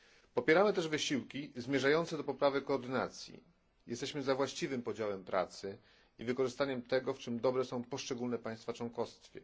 Popieramy też wysiłki zmierzające do poprawy koordynacji. Jesteśmy za właściwym podziałem pracy i wykorzystaniem tego, w czym dobre są poszczególne państwa członkowskie.